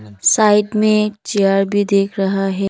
Side में chair भी दिख रहा है।